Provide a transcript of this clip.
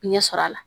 Ɲɛ sɔrɔ a la